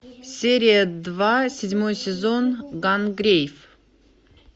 серия два седьмой сезон гангрейв